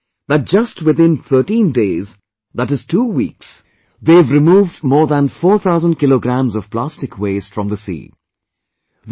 And I am told that just within 13 days ie 2 weeks, they have removed more than 4000kg of plastic waste from the sea